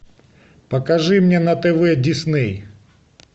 покажи мне на тв дисней